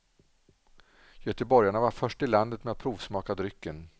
Göteborgarna var först i landet med att provsmaka drycken.